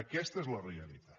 aquesta és la realitat